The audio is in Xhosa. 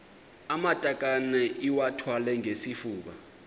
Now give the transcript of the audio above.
amatakane iwathwale ngesifuba